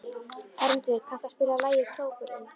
Hermundur, kanntu að spila lagið „Krókurinn“?